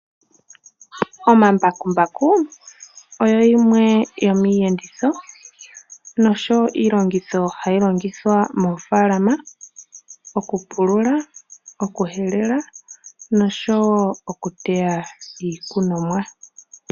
Omambakumbaku oyo yimwe yomiiyenditho nosho woo iilongitho ndjoka hayi longithwa moofalama, okupulula, okuhelela nosho woo oku teya iikunomwa.